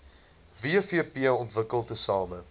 wvp ontwikkel tesame